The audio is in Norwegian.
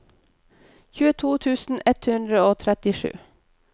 tjueto tusen ett hundre og trettisju